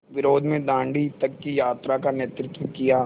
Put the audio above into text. विरोध में दाँडी तक की यात्रा का नेतृत्व किया